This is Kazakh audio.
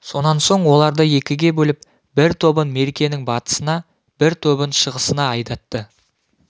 сонан соң оларды екіге бөліп бір тобын меркенің батысына бір тобын шығысына айдатты